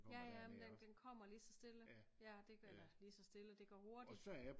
Ja ja men den den kommer lige så stille ja eller lige så stille det går hurtigt